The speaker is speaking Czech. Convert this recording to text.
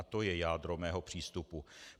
A to je jádro mého přístupu.